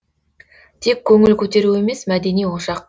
тек көңіл көтеру емес мәдени ошақ